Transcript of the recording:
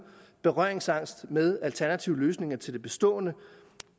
berøringsangst med alternative løsninger til det bestående